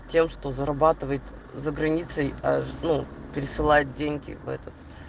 тем что зарабатывает за границей аж ну пересылать деньги в этот